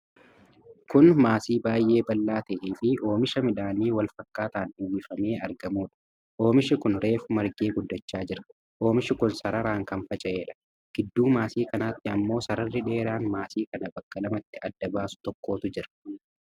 Kun maasii baay'ee bal'aa ta'ee fi oomisha midhaanii wal fakkaataan uwwifamee argamuudha. Oomishi kuni reefu margee guddachaa jira. Ommishi kun sararaan kan faca'edha. Gidduu maasii kanaatti ammoo sararri dheeraan maasii kana bakka lamatti adda baasu tokkotu jira.